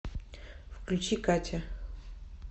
включи катя